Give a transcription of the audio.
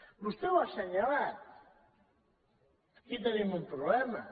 vostè ho ha assenyalat aquí tenim un problema